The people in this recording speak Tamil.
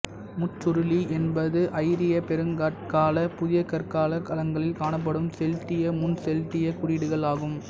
முச்சுருளி என்பது ஐரிய பெருங்கற்கால புதியகற்காலக் களங்களில் காணப்படும் செல்ட்டிய முன்செல்ட்டியக் குறியீடுகள் ஆகும்